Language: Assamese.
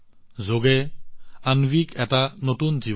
যোগে অন্বীক এটা নতুন জীৱন দিছে